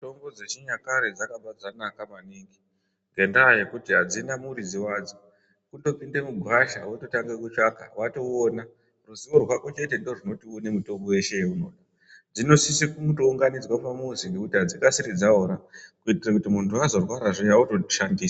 Mitombo dzechinyakare dzakabva dzanaka maningi ngendaa yekuti adzina muridzi wadzo kutopinde mugwasha wototange kutsvaka watoouona ruziwo rwako chete ndorunoti uone mutombo yeshe yeunoda dzinosise kutounganidzwa pamuzi ngekuti adzikasiri dzaora kuitire kuti muntu azorwara zviya otoshandisa.